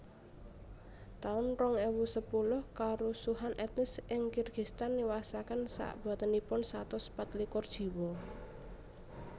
taun rong ewu sepuluh Karusuhan etnis ing Kirgistan niwasaken sakbotenipun satus pat likur jiwa